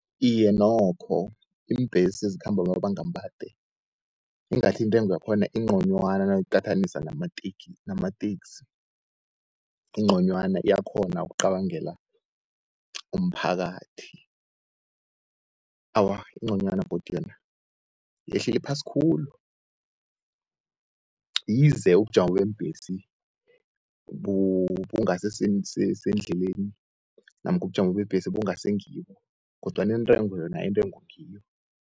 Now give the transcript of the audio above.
Iye nokho iimbhesi ezikhamba amabanga amade ingathi intengo yakhona ingconywana nangiyiqathanisa namateksi. Ingconywana iyakghona ukucabangela umphakathi, awa ingconywana godi yona yehlele phasi khulu. Yize ubujamo beembhesi bungasi endleleni namkha ubujamo beembhesi bangasi ngibo kodwana intengo yona, intengo ngiyo.